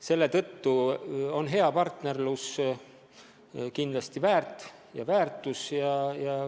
Selle tõttu on hea partnerlus kindlasti hädavajalik.